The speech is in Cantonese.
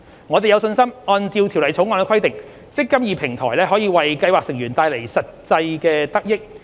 我們有信心按照《條例草案》的規定，"積金易"平台可為計劃成員帶來實際得益。